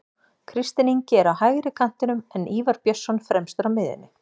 Kristinn Ingi er á hægri kantinum en Ívar Björnsson fremstur á miðjunni.